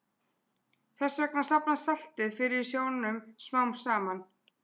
Þess vegna safnast saltið fyrir í sjónum smám saman.